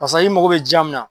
Karisa i mago be diya min na